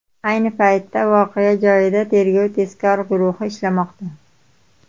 Ayni paytda voqea joyida tergov-tezkor guruhi ishlamoqda.